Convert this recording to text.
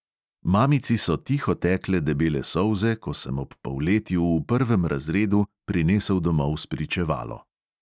Mamici so tiho tekle debele solze, ko sem ob polletju v prvem razredu prinesel domov spričevalo.